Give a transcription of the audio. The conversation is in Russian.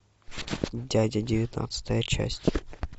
дядя девятнадцатая часть